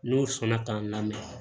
N'o sɔnna k'an lamɛn